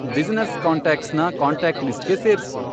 business ಕಾಂಟಾಕ್ಟ್ಸ್ನ contact ಲಿಸ್ಟ್ಗೆ ಸೇರ್ಸು